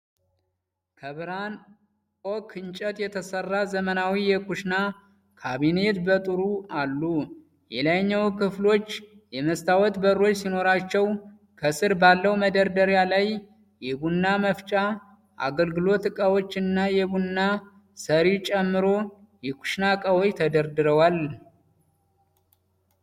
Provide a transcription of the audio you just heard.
ከብርሃን ኦክ እንጨት የተሰራ ዘመናዊ የኩሽና ካቢኔት በጥሩ አሉ። የላይኛው ክፍሎች የመስታወት በሮች ሲኖሯቸው፣ ከስር ባለው መደርደሪያ ላይ የቡና መፍጫ፣ የአገልግሎት ዕቃዎች እና የቡና ሰሪ ጨምሮ የኩሽና እቃዎች ተደርድረዋል።